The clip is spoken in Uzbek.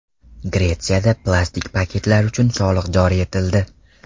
Gretsiyada plastik paketlar uchun soliq joriy etildi.